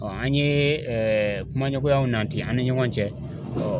Ɔɔ an ye ɛɛ kuma ɲɔgɔnyaw nanti an ni ɲɔgɔn cɛ ɔ